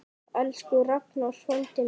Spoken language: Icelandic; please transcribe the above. Elsku Ragnar frændi minn.